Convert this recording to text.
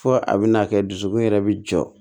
Fo a bɛna kɛ dusukun yɛrɛ bɛ jɔ